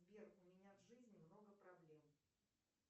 сбер у меня в жизни много проблем